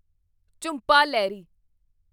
Jhumpa Lahiri